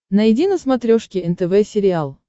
найди на смотрешке нтв сериал